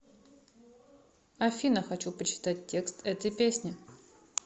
афина хочу почитать текст этой песни